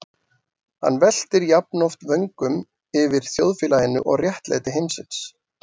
Hann veltir jafnoft vöngum yfir þjóðfélaginu og réttlæti heimsins.